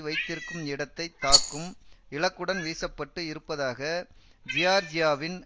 வைத்திருக்கும் இடத்தை தாக்கும் இலக்குடன் வீசப்பட்டு இருப்பதாக ஜியார்ஜியாவின்